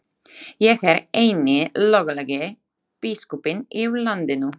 Ég er eini löglegi biskupinn í landinu!